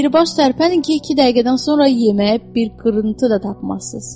Dirbaş tərpənin ki, iki dəqiqədən sonra yeməyə bir qırıntı da tapmazsız.